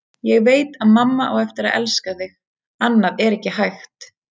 Ég veit að mamma á eftir að elska þig, annað er ekki hægt.